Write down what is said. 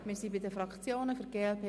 Wir sind bei den Fraktionen angelangt.